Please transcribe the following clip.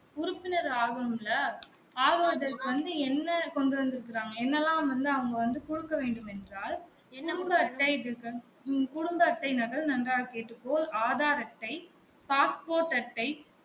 உறுப்பினர் ஆகனும் இல்ல ஆகுவதற்கு வந்து என்ன கொண்டு வந்து இருக்காங்க என்னலாம் வந்து அவங்க வந்து குடுக்க வேண்டும் என்றால் குடும்ப அட்டை குடும்ப அட்டை நகல் நன்றாக கேட்டுக்கொள் ஆதார் அட்டை பாஸ் போர்ட் அட்டை